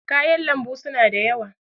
kayan lambu suna da yawa